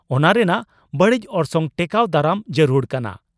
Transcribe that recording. ᱚᱱᱟ ᱨᱮᱱᱟᱜ ᱵᱟᱹᱲᱤᱡ ᱚᱨᱥᱚᱝ ᱴᱮᱠᱟᱣ ᱫᱟᱨᱟᱢ ᱡᱟᱹᱨᱩᱲ ᱠᱟᱱᱟ ᱾